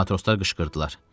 Matroslar qışqırdılar.